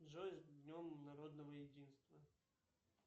джой с днем народного единства